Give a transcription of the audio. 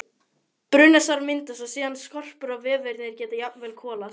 Brunasár myndast og síðan skorpur og vefirnir geta jafnvel kolast.